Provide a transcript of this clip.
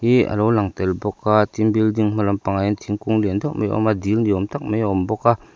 hi a lo lang tel bawk a tin building hma lampang ah hian thingkung lian deuh mai a awm a dil ni awm tak mai a awm bawk a.